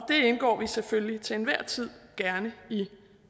indgår vi selvfølgelig til enhver tid gerne i